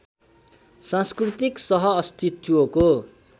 सांस्कृतिक सह अस्तित्वको